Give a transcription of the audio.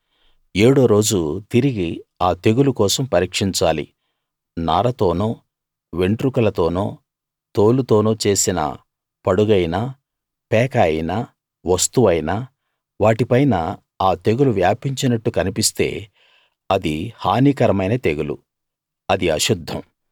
ఏడో రోజు తిరిగి ఆ తెగులు కోసం పరీక్షించాలి నారతోనో వెంట్రుకలతోనో తోలుతోనో చేసిన పడుగైనా పేక అయినా వస్తువైనా వాటిపైన ఆ తెగులు వ్యాపించినట్టు కన్పిస్తే అది హానికరమైన తెగులు అది అశుద్ధం